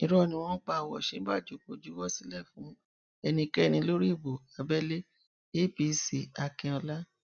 irọ ni wọn ń pa ọ òsínbàjò kò juwọ sílẹ fún ẹnikẹni lórí ìbò abẹlé apcakínọlá